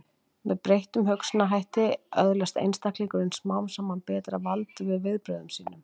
Með breyttum hugsunarhætti öðlast einstaklingurinn smám saman betra vald yfir viðbrögðum sínum.